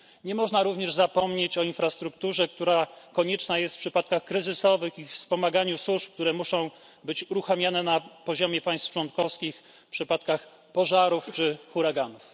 Nie można również zapomnieć o infrastrukturze, która jest konieczna w przypadkach kryzysowych, i o wspomaganiu służb, które muszą być uruchamiane na poziomie państw członkowskich w przypadkach pożarów czy huraganów.